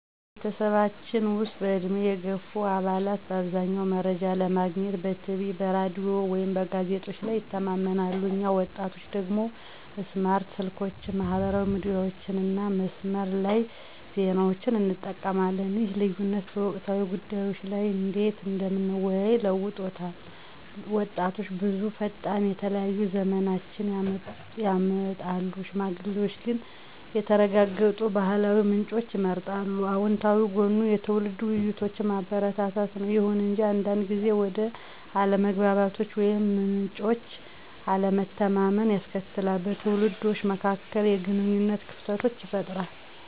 በቤተሰባችን ውስጥ፣ በዕድሜ የገፉ አባላት በአብዛኛው መረጃ ለማግኘት በቲቪ፣ በራዲዮ ወይም በጋዜጦች ላይ ይተማመናሉ፣ እኛ ወጣቶቹ ደግሞ ስማርት ስልኮችን፣ ማህበራዊ ሚዲያዎችን እና የመስመር ላይ ዜናዎችን እንጠቀማለን። ይህ ልዩነት በወቅታዊ ጉዳዮች ላይ እንዴት እንደምንወያይ ለውጦታል— ወጣቶች ብዙ ፈጣን፣ የተለያዩ ዝመናዎችን ያመጣሉ፣ ሽማግሌዎች ግን የተረጋገጡ ባህላዊ ምንጮችን ይመርጣሉ። አወንታዊ ጎኑ የትውልድ ውይይቶችን ማበረታታት ነው። ይሁን እንጂ አንዳንድ ጊዜ ወደ አለመግባባቶች ወይም ምንጮች አለመተማመንን ያስከትላል, በትውልዶች መካከል የግንኙነት ክፍተቶችን ይፈጥራል.